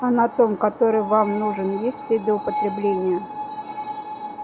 а на том который вам нужен есть следы употребления